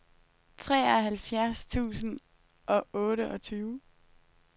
treoghalvfjerds tusind og otteogtyve